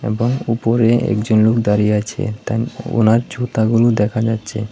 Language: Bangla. এবং উপরে একজন লোক দাঁড়িয়ে আছে তাই ওনার জুতাগুলো দেখা যাচ্ছে।